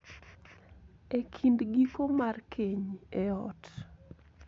E kind giko mar keny e ot.